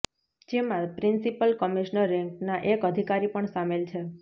જેમાં principal commissioner રેન્કના એક અધિકારી પણ સામેલ છે